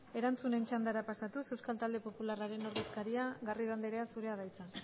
erantzunen txandara pasatuz euskal talde popularraren ordezkaria garrido anderea zurea da hitza